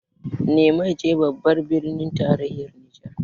Nyamai ce babbar birnin tarayyar Nijar